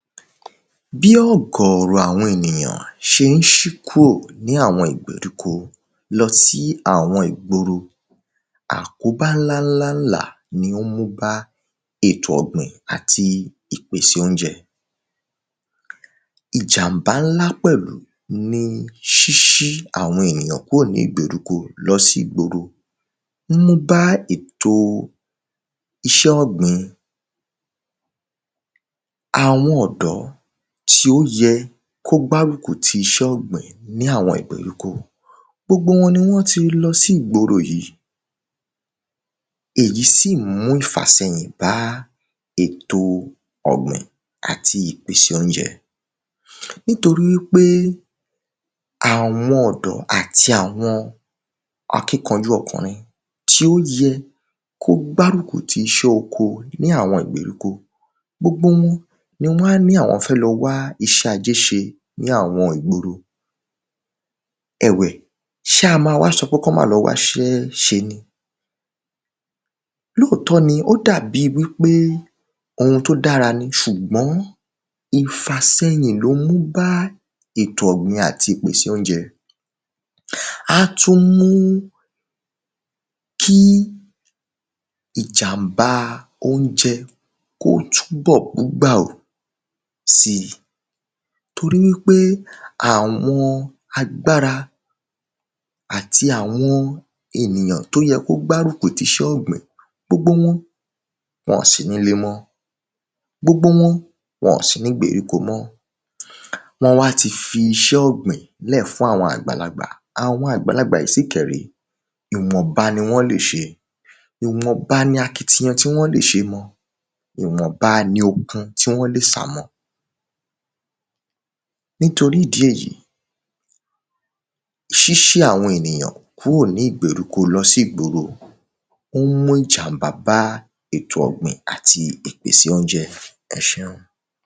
Bí ọ̀gọ̀rọ̀ àwọn ènìyàn ṣé ń ṣí kúrò ní àwọn ìgbèríko lọ sí àwọn ìgboro. Àkóbá ńlá ńlá ǹlà ni ó ń mú bá ètò ọ̀gbìn àti ìpèsè óúnjẹ. Ìjàmbá ńlá pẹ̀lú ni ṣíṣí àwọn ènìyàn kúrò nígbèríko lọ sí ìgboro ó ń mú bá ètò iṣẹ́ ọ̀gbìn. Àwọn ọ̀dọ́ tí ó yẹ kó gbárùkù ti iṣẹ́ ọ̀gbìn ní àwọn ìgbèríko gbogbo wọn ni wọ́n ti lọ sí ìgboro yìí. èyí sì mú ìfàsẹyìn bá èto ọ̀gbìn àti ìpèsè óúnjẹ. Nitoríwípé àwọn ọ̀dọ́ àti àwọn akínkanjú ọkùrin tí ó yẹ kó gbárùkù tiṣẹ́ oko ní àwọn ìgbèríko gbogbo wọn ni wọ́n á ní àwọn fẹ́ lọ wá iṣẹ́ ajé ṣe ní àwọn ìgboro. Ẹ̀wẹ̀ ṣá má wá sọ wípé kán má lọ wáṣẹ́ ṣe ni lóòtọ́ ni ó dàbí wípé ohun tó dára ni ṣùgbọ́n ìfàsẹyìn ló ń mú bá ètò ọ̀gbìn àti ìpèsè óúnjẹ. Á tún mú kí ìjàmbá óúnjẹ kó túnbọ̀ kú gbà ò sí torí wípé àwọn agbára àti àwọn ènìyàn tó yẹ kó gbárùkù ti iṣẹ́ ọ̀gbìn gbogbo wọn wọn ò sí nílé mọ́ gbogbo wọn ò sí nígbèríko mọ́. wọ́n wá ti fiṣẹ́ ọ̀gbìn lẹ̀ fún àwọn àgbàlagbà àwọn àgbàlagbà yìí sì kẹ̀ ré ìwọ̀nba ni wọ́n lè ṣe ìwọ̀nba ni akitiyan tí wọ́n lè ṣe mọ ìwọ̀nba ni ohun tí wọ́n lè sà mọ. Nítorí ìdí èyí ṣíṣí àwọn ènìyàn kúrò nígbèríko lọ sí ìgboro ó ń mú ìjàmbá bá ètò ọ̀gbìn àti ìpèsè óúnjẹ ẹṣeun.